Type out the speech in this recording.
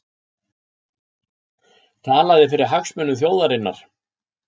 Talaði fyrir hagsmunum þjóðarinnar